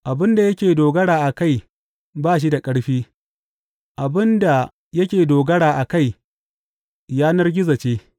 Abin da yake dogara a kai ba shi da ƙarfi; abin da yake dogara a kai yanar gizo ce.